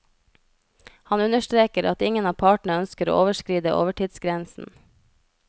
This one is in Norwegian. Han understreker at ingen av partene ønsker å overskride overtidsgrensen.